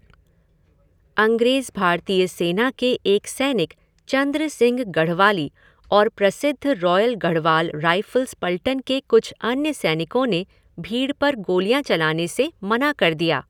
अंग्रेज़ भारतीय सेना के एक सैनिक चंद्र सिंह गढ़वाली और प्रसिद्ध रॉयल गढ़वाल राइफ़ल्स पलटन के कुछ अन्य सैनिकों ने भीड़ पर गोलियाँ चलाने से मना कर दिया।